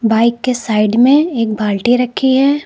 Bike के side में एक बाल्टी रखी है।